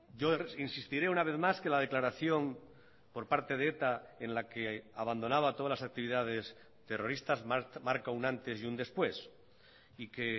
yo insistiré una vez más que la declaración por parte de eta en la que abandonaba todas las actividades terroristas marca un antes y un después y que